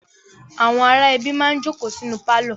Àwọn ará ẹbí máa ń jókòó sínú pálọ̀.